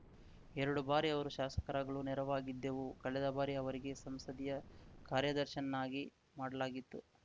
ಎರಡು ಬಾರಿ ಅವರು ಶಾಸಕರಾಗಲು ನೆರವಾಗಿದ್ದೆವು ಕಳೆದ ಬಾರಿ ಅವರಿಗೆ ಸಂಸದೀಯ ಕಾರ್ಯದರ್ಶಿಯನ್ನಾಗಿ ಮಾಡಲಾಗಿತ್ತು